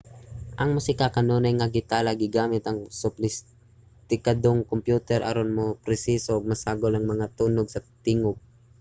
ang musika kanunay nga gitala gamit ang sopistikadong mga kompyuter aron maproseso ug masagol ang mga tunog sa tingub